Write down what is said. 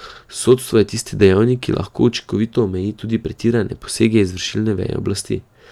Sodstvo je tisti dejavnik, ki lahko učinkovito omeji tudi pretirane posege izvršilne veje oblasti.